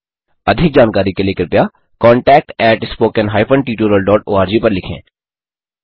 अधिक जानकारी के लिए कृपया contactspoken tutorialorg पर लिखें